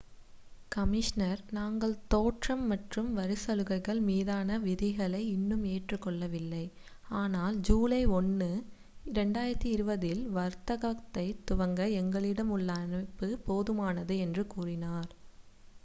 "Commissioner "நாங்கள் தோற்றம் மற்றும் வரிச்சலுகைகள் மீதான விதிகளை இன்னும் ஏற்றுக்கொள்ளவில்லை ஆனால் ஜூலை 1 2020 இல் வர்த்தகத்தைத் துவங்க எங்களிடம் உள்ள அமைப்பு போதுமானது" என்று கூறினார்.